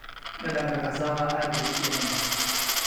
Dhadhanka cassava aad buu u fiican yahay.